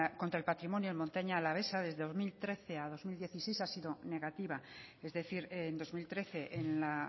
contra el patrimonio en montaña alavesa desde dos mil trece a dos mil dieciséis ha sido negativa es decir en dos mil trece en la